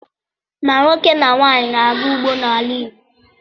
Ma nwoke ma nwaanyị na-aga ugbo n’ala Igbo